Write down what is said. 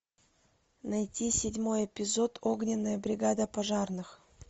найти седьмой эпизод огненная бригада пожарных